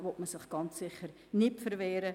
Dagegen wollen wir uns sicher nicht wehren.